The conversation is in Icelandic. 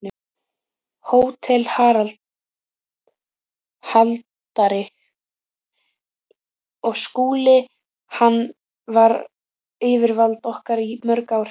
HÓTELHALDARI: Og Skúli- hann var yfirvald okkar í mörg ár.